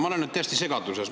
Ma olen nüüd täiesti segaduses.